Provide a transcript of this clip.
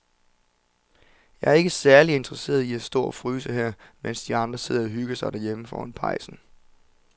Jeg er ikke særlig interesseret i at stå og fryse her, mens de andre sidder og hygger sig derhjemme foran pejsen.